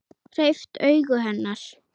Hreyft augu hennar.